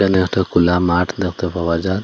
এখানে একটা খুলা মাঠ দেখতে পাওয়া যার।